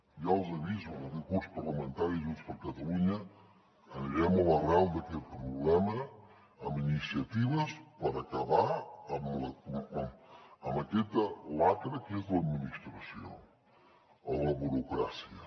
ja els aviso que en aquest curs parlamentari junts per catalunya anirem a l’arrel d’aquest problema amb iniciatives per acabar amb aquesta xacra que és l’administració la burocràcia